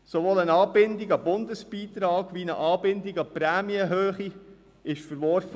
Sowohl eine Anbindung an den Bundesbeitrag wie eine Anbindung an die Prämienhöhe wurden verworfen.